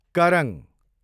करङ